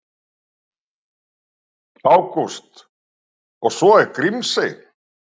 Ágúst: Og svo er Grímsey.